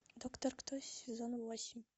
доктор кто сезон восемь